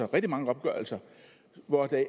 rigtig mange opgørelser hvor det